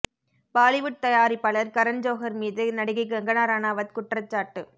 பாலிவுட் தயாரிப்பாளர் கரன் ஜோஹர் மீது நடிகை கங்கனா ரணாவத் குற்றச்சாட்டு